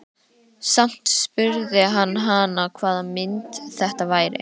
Samt spurði hann hana hvaða mynd þetta væri.